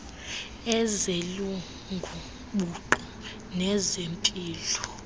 ezelungu buqu nezempilo